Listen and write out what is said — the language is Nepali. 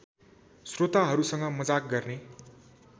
स्रोताहरूसँग मजाक गर्ने